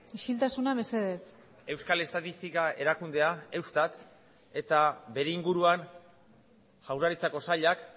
isiltasuna mesedez euskal estatistika erakundea eustat eta bere inguruan jaurlaritzako sailak